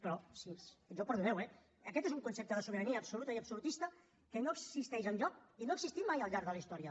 però jo perdoneu eh aquest és un concepte de sobirania absoluta i absolutista que no existeix enlloc i no ha existit mai al llarg de la història